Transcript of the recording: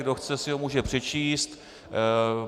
Kdo chce, si ho může přečíst.